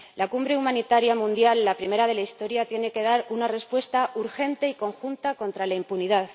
La Cumbre Humanitaria Mundial, la primera de la historia, tiene que dar una respuesta urgente y conjunta contra la impunidad.